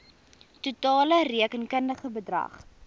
totale rekenkundige bedrag